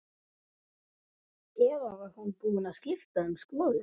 Eða var hún búin að skipta um skoðun?